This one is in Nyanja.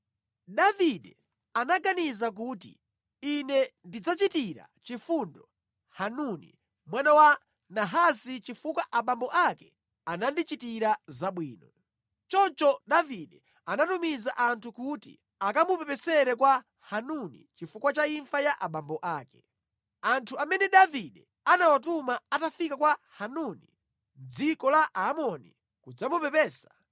Davide anaganiza kuti, “Ine ndidzachitira chifundo Hanuni mwana wa Nahasi chifukwa abambo ake anandichitira zabwino.” Choncho Davide anatumiza anthu kuti akamupepesere kwa Hanuni chifukwa cha imfa ya abambo ake. Anthu amene Davide anawatuma atafika kwa Hanuni mʼdziko la Aamoni kudzamupepesa,